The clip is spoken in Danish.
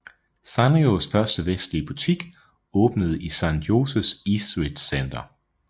Sanrios første vestlige butik åbnede i San Joses Eastridge Center